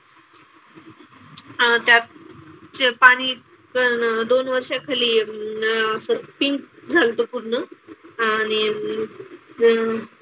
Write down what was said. अह त्यात जे पाणी दोन वर्षाखाली अं असं pink झालं होतं पूर्ण. आणि मग,